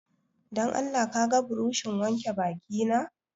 Don Allah ka ga burushin wanke baki na